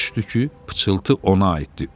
Başa düşdü ki, pıçıltı ona aiddir.